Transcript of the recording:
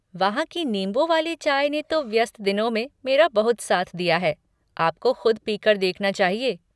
वहाँ की नींबू वाली चाय ने तो व्यस्त दिनों में मेरा बहुत साथ दिया है, आपको ख़ुद पीकर देखना चाहिए।